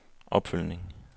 opfølgning